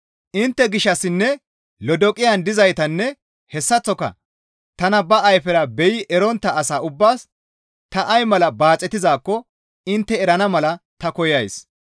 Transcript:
Intte gishshassinne Lodoqiyan dizaytanne hessaththoka tana ba ayfera beyi erontta asa ubbaas ta ay mala baaxetizaakko intte erana mala ta koyays.